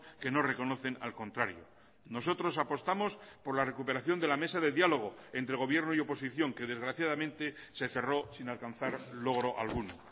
que no reconocen al contrario nosotros apostamos por la recuperación de la mesa de diálogo entre gobierno y oposición que desgraciadamente se cerró sin alcanzar logro alguno